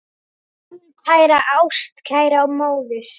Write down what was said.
Mín kæra ástkæra móðir.